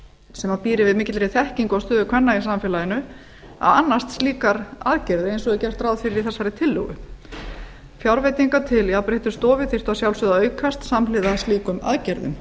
sem býr yfir mikilli þekkingu á stöðu kvenna í samfélaginu að annast slíkar aðgerðir eins og er gert ráð fyrir í tillögu þessari fjárveitingar til jafnréttisstofu þyrftu að sjálfsögðu að aukast samhliða slíkum aðgerðum